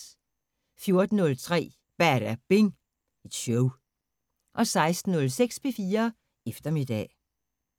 14:03: Badabing Show 16:06: P4 Eftermiddag